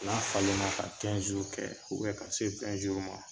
N'a falen na ka kɛ ka se ma